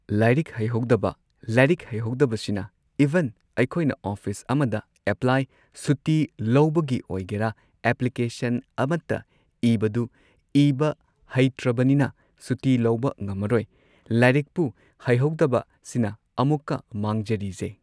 ꯂꯥꯏꯔꯤꯛ ꯍꯩꯍꯧꯗꯕ ꯂꯥꯏꯔꯤꯛ ꯍꯩꯍꯧꯗꯕꯁꯤꯅ ꯢꯚꯟ ꯑꯩꯈꯣꯏꯅ ꯑꯣꯐꯤꯁ ꯑꯃꯗ ꯑꯦꯄ꯭ꯂꯥꯢ ꯁꯨꯇꯤ ꯂꯧꯕꯒꯤ ꯑꯣꯏꯒꯦꯔ ꯑꯦꯄ꯭ꯂꯤꯀꯦꯁꯟ ꯑꯃꯇ ꯏꯕꯗꯨ ꯏꯕ ꯍꯩꯇꯔꯕꯅꯤꯅ ꯁꯨꯇꯤ ꯂꯧꯕ ꯉꯝꯃꯔꯣꯏ ꯂꯥꯏꯔꯤꯛꯄꯨ ꯍꯩꯇ꯭ꯔꯕꯅꯤꯅ ꯑꯃꯨꯛꯀ ꯃꯥꯡꯖꯔꯤꯖꯦ